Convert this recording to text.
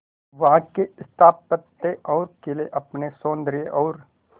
वहां के स्थापत्य और किले अपने सौंदर्य और